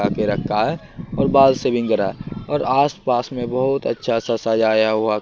आगे रखा है और बाल सेविंग करा और आस पास में बहुत अच्छा सा सजाया हुआ--